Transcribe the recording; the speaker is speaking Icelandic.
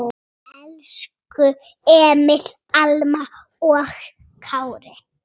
Elsku Emil, Alma og Kári.